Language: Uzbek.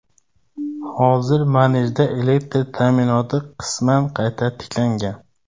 Hozir Majenda elektr ta’minoti qisman qayta tiklangan.